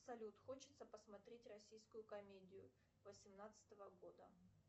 салют хочется посмотреть российскую комедию восемнадцатого года